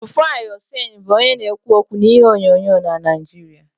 Rufai Oseni bụ onye na-ekwu okwu n'ihe onyonyo na Naijiria